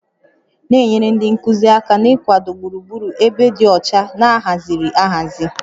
Na-enyere ndị nkuzi aka n'ịkwado gburugburu ebe dị ọcha na ahaziri ahazi